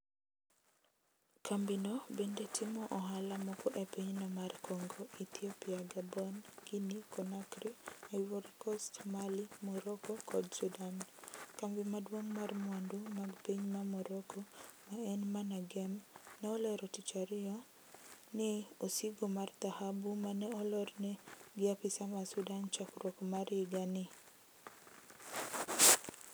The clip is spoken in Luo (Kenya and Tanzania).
Kambi no bende timo ohala moke e pinyno mar kongo, Ethiopia, Gabon, Guinea konakry, Ivory kost, Mali, Moroko kod Sudan ,kambi maduong' mar mwandu mag piny ma Moroko ma en MANAGEM ne olero tich ariyo n osigo mar dhahabu mane olorne gi apisa ma Sudan chakruok mar yiga ni.